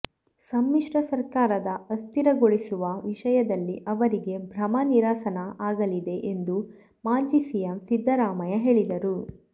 ಸಮ್ಮಿಶ್ರ ಸರಕಾರ ಅಸ್ಥಿರಗೊಳಿಸುವ ವಿಷಯದಲ್ಲಿ ಅವರಿಗೆ ಭ್ರಮ ನಿರಸನ ಆಗಲಿದೆ ಎಂದು ಮಾಜಿ ಸಿಎಂ ಸಿದ್ದರಾಮಯ್ಯ ಹೇಳಿದರು